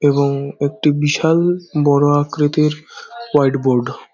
এবং একটি বিশাল বড় আকৃতির হোইটবোর্ড ।